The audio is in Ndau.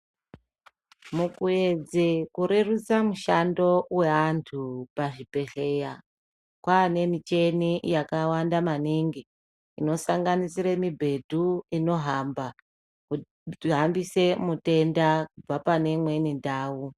Mukuedze kurereruse mushando weantu pachibhedhleya kwaane miteni yakawanda maningi inosanganisire mibhedhu inohamba kuti hambise mutenda kubve pane imweni ndau.